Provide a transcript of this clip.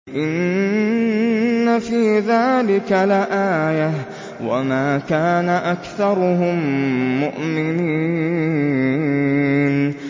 إِنَّ فِي ذَٰلِكَ لَآيَةً ۖ وَمَا كَانَ أَكْثَرُهُم مُّؤْمِنِينَ